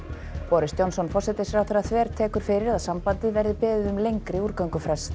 boris Johnson forsætisráðherra þvertekur fyrir að sambandið verði beðið um lengri